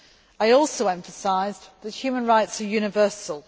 I also emphasised that human rights are universal.